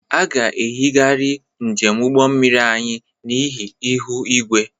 A ga-eyigharị njem ụgbọ mmiri anyị n'ihi ihu igwe.